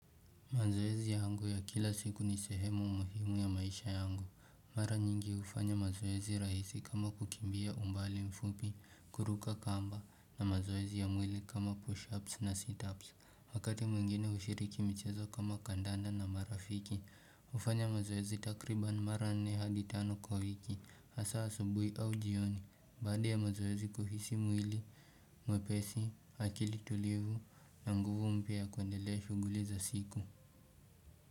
Mazoezi yangu ya kila siku ni sehemu muhimu ya maisha yangu. Mara nyingi hufanya mazoezi rahisi kama kukimbia umbali mfupi, kuruka kamba, na mazoezi ya mwili kama push-ups na sit-ups. Wakati mwingine hushiriki michezo kama kandanda na marafiki, hufanya mazoezi takriban mara nne hadi tano kwa wiki, hasaa asubuhi au jioni. Baada ya mazoezi kuhisi mwili mwepesi, akili tulivu na nguvu mpya ya kuendelea shughuli za siku.